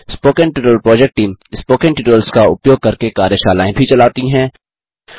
spoken tutorial project team spoken tutorials का उपयोग करके कार्यशालाएँ भी चलाती हैं